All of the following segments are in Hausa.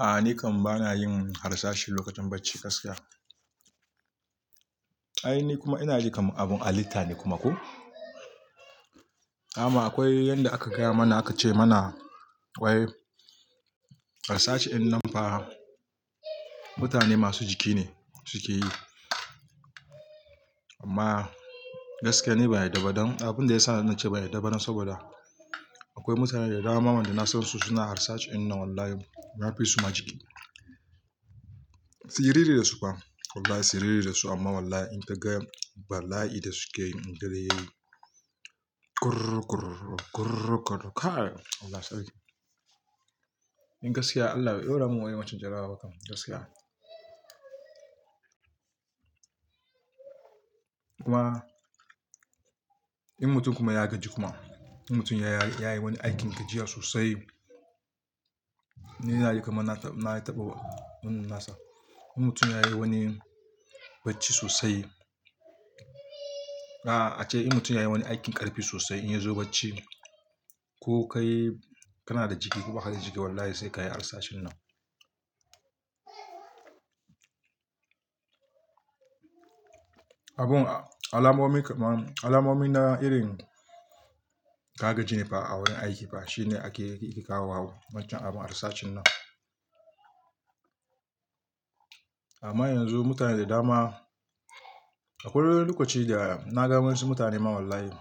A'a, ni kam bana yin harsashi lokacin bacci gaskiya. Ai ni kuma ina ji kaman abun halitta ne kuma ko. Amma akwai yanda aka gaya mana aka ce mana akwai harsashi in nan fa mutane masu jiki ne suke yi. Amma gaskiya ni ban yadda ba don Abin da ya sa na ce ba yadda saboda akwai mutane da dama waɗanda na san su suna harsashi ɗin nan wallahi na fi su ma jiki. Siriri da su fa wallahi siriri da su amma wallahi in ka ga bala'i da suke yi in dare yayi kurr kurr kurr kurr. Kai Allah sarki! In gaskiya Allah bai ɗaura min irin wancan jarabawar ba kam gaskiya. Kuma in mutum kuma ya gaji kuma, in mutum ya yi wani aikin gajiya sosai. Ni ina ji kaman na taɓa mun nasa. In mutum ya yi wani bacci sosai. A'a ace in mutum ya yi wani aikin ƙarfi sosai in ya zo bacci ko kai kana da jiki ko baka da jiki wallahi sai ka yi harsashin nan. Abun alamomi alamomi na irin ka gaji ne fa a wurin aiki fa shine ya ke kawo wa wancan abin harsashin nan. Amma yanzu mutane da dama akwai wani lokoci da na ga wasu mutane ma wallahi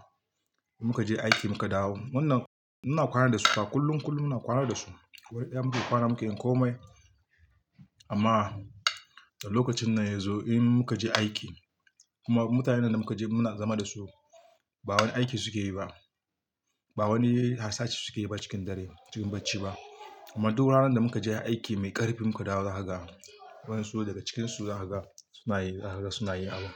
muka je aiki muka dawo. Wannan muna kwana da su ta kullum kullum muna kwana da su. Akwai ƴan mu ke kwana muke in komai. Amma lokacin nan ya zo in muka je aiki kuma mutanen da muka je muna zama da su ba wani aiki suke yi ba. Ba wani harsashi suke yi ba cikin dare cikin bacci ba. Amma duk ranar da muka je aiki mai ƙarfi muka dawo za ka ga wasu daga cikin su za ka ga suna yi za ka ga suna yin abun.